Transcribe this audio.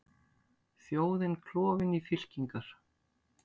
Þjóðin klofin í fylkingar